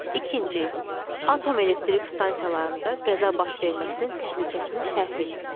İkinci, atom elektrik stansiyalarında qəza baş verməsinin təhlükəsini şərh eləyin.